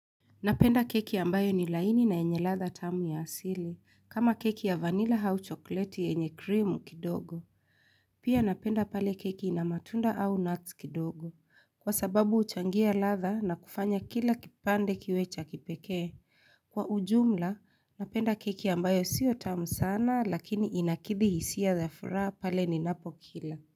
Napenda keki ambayo ni laini na enye latha tamu ya asili, kama keki ya vanilla au chokleti enye krimu kidogo. Pia napenda pale keki ina matunda au nuts kidogo, kwa sababu huchangia latha na kufanya kila kipande kiwecha kipekee. Kwa ujumla, napenda keki ambayo siyo tamu sana lakini inakidi hisia zaafura pale ni napo kila.